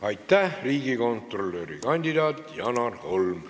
Aitäh, riigikontrolöri kandidaat Janar Holm!